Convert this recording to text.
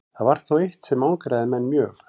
Þó var það eitt sem angraði menn mjög.